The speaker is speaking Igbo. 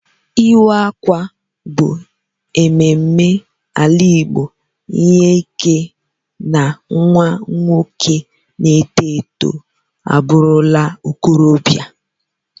Iwa akwa bu ememe ala igbo inye ike na nwa nwoke na eto eto aburula okorobia.